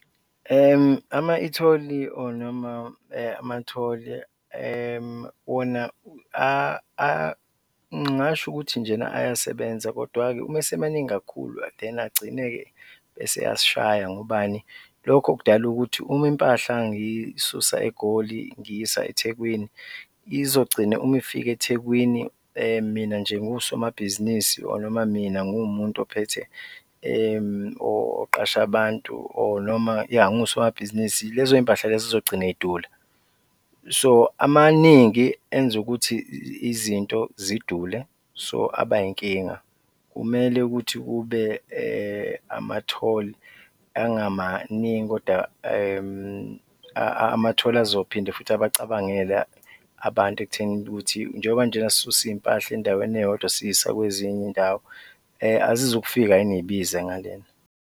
Ama-etoll-i or noma ama-toll-i wona ngingasho ukuthi njena ayasebenza kodwa-ke uma esemaningi kakhulu then agcine-ke eseyasishaya, ngobani? Lokho kudala ukuthi uma impahla ngiyisusa eGoli ngiyisa Ethekwini, izogcina uma ifika Ethekwini, mina nje ngiwusomabhizinisi or noma mina ngiwumuntu ophethe oqashe abantu or noma yah, ngiwusomabhizinisi, lezoy'mpahla lezo zizogcine zidula, so amaningi enza ukuthi izinto zidule so aba yinkinga. Kumele ukuthi kube ama-toll angamaningi kodwa ama-toll azophinde futhi abacabangele abantu ekutheni ukuthi njengoba njena sisusa iy'mpahla endaweni eyodwa siyisa kwezinye iy'ndawo, azizukufika yini zibize ngalena?